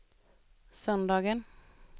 söndagen